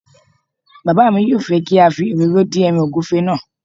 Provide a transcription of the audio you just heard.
Bàbá mi yóò fẹ́ kí a fi òróró dín ẹràn ògúnfe náà